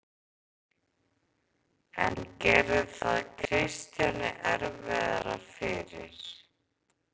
En gerði það Kristjáni erfiðara fyrir?